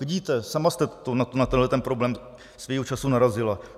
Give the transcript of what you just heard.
Vidíte, sama jste na tenhleten problém svého času narazila.